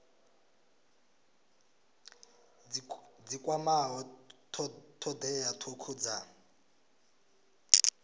dzi kwamaho thodea thukhu dza